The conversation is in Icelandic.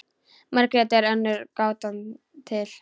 Margrét er önnur gátan til.